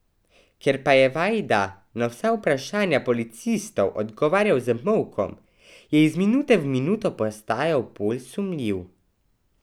Ker pa je Vajda na vsa vprašanja policistov odgovarjal z molkom, je iz minute v minuto postajal bolj sumljiv.